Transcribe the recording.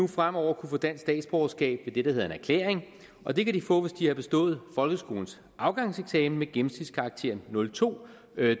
fremover kunne få dansk statsborgerskab ved hedder en erklæring og det kan de få hvis de har bestået folkeskolens afgangseksamen med gennemsnitskarakteren nul to